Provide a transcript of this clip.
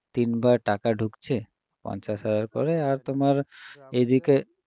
তিনবার টাকা ঢুকছে পঞ্চাশ হাজার করে আর তোমার এদিকে